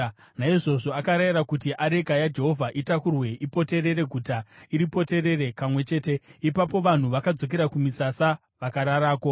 Naizvozvo akarayira kuti areka yaJehovha itakurwe ipoterere guta, iripoterere kamwe chete. Ipapo vanhu vakadzokera kumisasa vakararako.